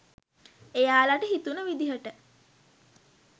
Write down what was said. එයාලට හිතුණ විදිහට